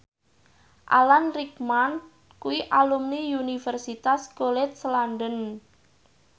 Alan Rickman kuwi alumni Universitas College London